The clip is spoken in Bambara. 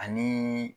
Ani